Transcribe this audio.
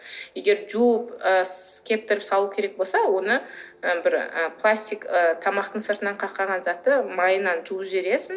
егер жуып кептіріп салу керек болса оны ы бір ы пластик ы тамақтың сыртынан затты майынан жуып жібересің